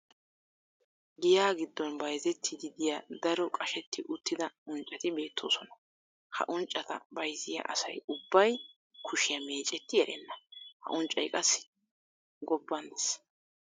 Giyaa giddon bayzzetiidi diya daro qashetti uttida unccati beetosona. ha unccata bayzziya asay ubbay kushiya meecetti erenna. ha unccay qassi gobban des.